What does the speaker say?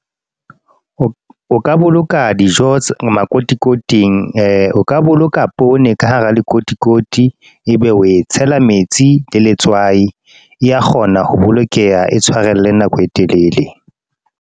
O ka boloka dijo makotikoting. O ka boloka poone ka hara lekotikoti, ebe o e tshela metsi le letswai. E ya kgona ho bolokeha e tshwarella nako e telele.